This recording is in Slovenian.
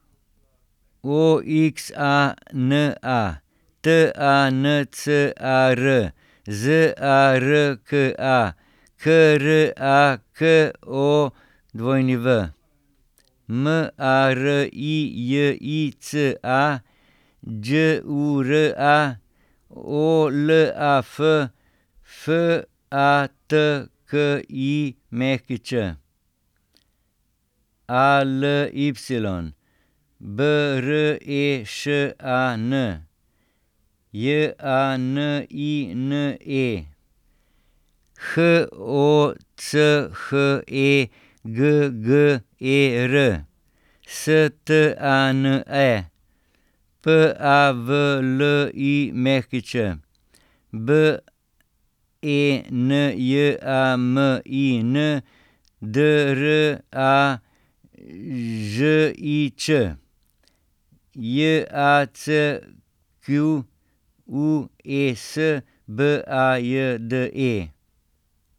O X A N A, T A N C A R; Z A R K A, K R A K O W; M A R I J I C A, Đ U R A; O L A F, F A T K I Ć; A L Y, B R E Š A N; J A N I N E, H O C H E G G E R; S T A N E, P A V L I Ć; B E N J A M I N, D R A Ž I Č; J A C Q U E S, B A J D E.